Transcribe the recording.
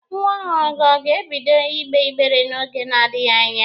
Nwa ọhụrụ gị ọ ga-ebido ịgbe ịgbere n'oge na-adịghi anya?